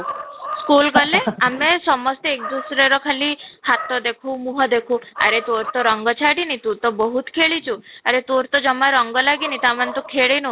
school ଗଲେ ଆମେ ସମସ୍ତେ ର ଖାଲି ହାତ ଦେଖୁ ମୁହଁ ଦେଖୁ ଆରେ ତୋ ରଙ୍ଗ ଛାଡିନି, ତୁ ତ ବହୁତ ଖେଳିଛୁ ଆରେ ତୋର ଜମା ରଙ୍ଗ ଲାଗିନୀ ତା ମାନେ ତୁ ଖେଳିନୁ